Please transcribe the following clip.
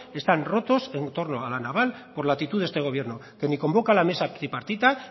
están rotos en torno a la naval por la actitud de este gobierno que ni convoca la mesa tripartita